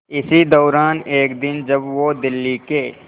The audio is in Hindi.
इसी दौरान एक दिन जब वो दिल्ली के